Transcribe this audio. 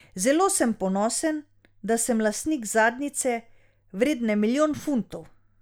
Zelo sem ponosen, da sem lastnik zadnjice, vredne milijon funtov.